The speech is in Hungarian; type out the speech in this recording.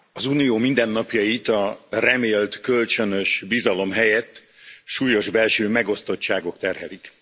Elnök Úr! Az unió mindennapjait a remélt kölcsönös bizalom helyett súlyos belső megosztottságok terhelik.